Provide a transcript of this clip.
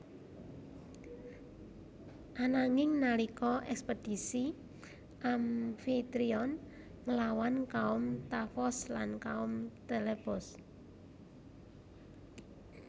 Ananging nalika ekspedisi Amfitrion nglawan kaum Tafos lan kaum Telebos